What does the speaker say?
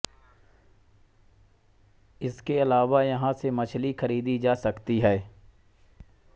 इसके अलावा यहाँ से मछली खरीदी जा सकती है